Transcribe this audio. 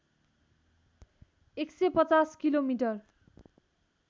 १५० kilometre